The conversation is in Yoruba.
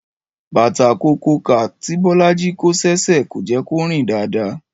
Bàtà kokokà tí Bọ́lájí kó sí ẹsẹ̀ kò jẹ́ kó rìn dáadáa